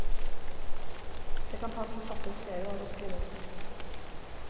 Det kan ta en forfatter flere år å skrive en bok.